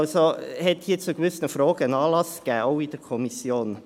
Das AGG hat deshalb zu gewissen Fragen Anlass gegeben, auch in der Kommission.